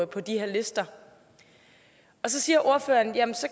på de her lister så siger ordføreren